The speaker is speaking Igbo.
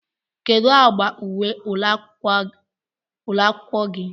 kedu agba uwe ụlọ akwụkwọ gị?